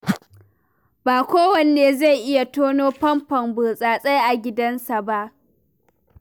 Ba kowa ne zai iya tonon famfon burtsatse a gidansa ba.